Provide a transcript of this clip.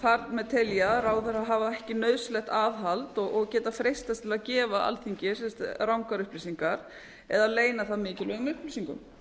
þar með telja að ráðherrar hafa ekki nauðsynlegt aðhald og geta freistast til að gefa alþingi rangar upplýsingar eða leyna það mikilvægum upplýsingum